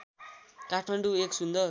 काठमाडौँ एक सुन्दर